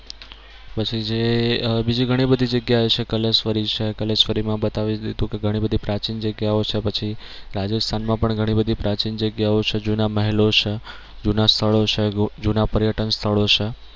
પછી જે બીજી ઘણી બધી જગ્યા છે કલેશ્વરી છે કલેશ્વરી માં બતાવી દીધું કે ઘણી બધી પ્રાચીન જગ્યા ઓ છે પછી રાજસ્થાન માં પણ ઘણી બધી પ્રાચીન જગ્યા ઓ છે જૂના મહેલો છે જૂના સ્થળો છે જૂના પર્યટન સ્થળો છે.